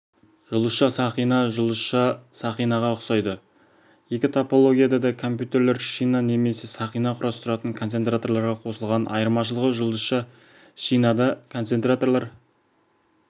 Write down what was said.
жұлдызша-сақина жұлдызша-сақинаға ұқсайды екі топологияда да компьютерлер шина немесе сақина құрастыратын концентраторларға қосылған айырмашылығы жұлдызша-шинада концентраторлар